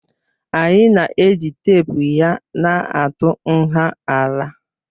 Anyị na-eji teepu ya na-atụ nha ala